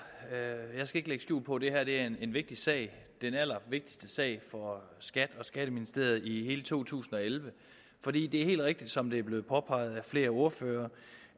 jeg skal ikke lægge skjul på det er en vigtig sag den allervigtigste sag for skat og skatteministeriet i hele to tusind og elleve for det er helt rigtigt som det er blevet påpeget af flere ordførere